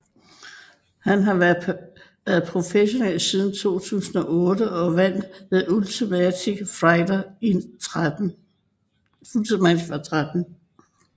Han har været professionel siden 2008 og vandt The Ultimate Fighter 13